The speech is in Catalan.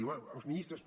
diu bé els ministres